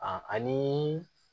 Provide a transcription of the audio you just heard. ani